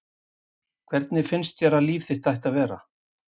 Hvernig finnst þér að líf þitt ætti að vera?